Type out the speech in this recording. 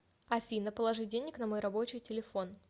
афина положи денег на мой рабочий телефон